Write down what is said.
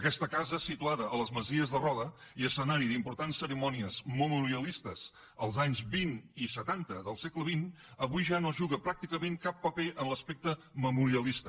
aquesta casa situada a les masies de roda i escenari d’importants cerimònies memorialistes els anys vint i setanta del segle xx avui ja no juga pràcticament cap paper en l’aspecte memorialista